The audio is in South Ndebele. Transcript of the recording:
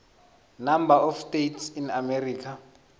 number of states in america